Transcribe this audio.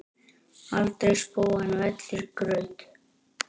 aldrei spóinn vellir graut.